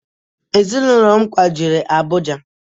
Ezịnụlo m kwajere Abụja